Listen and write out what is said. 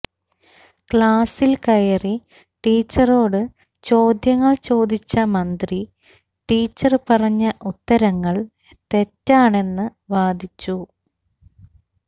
ക്ലാസിൽ കയറി ടീച്ചറോട് ചോദ്യങ്ങൾ ചോദിച്ച മന്ത്രി ടീച്ചർ പറഞ്ഞ ഉത്തരങ്ങൾ തെറ്റാണെന്ന് വാദിച്ചു